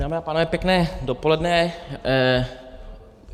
Dámy a pánové, pěkné dopoledne.